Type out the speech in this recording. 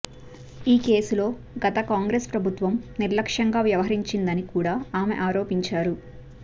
ఈ కేసులో గత కాంగ్రెస్ ప్రభుత్వం నిర్లక్ష్యంగా వ్యవహరించిందని కూడా ఆమె ఆరోపించారు